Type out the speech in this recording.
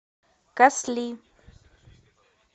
касли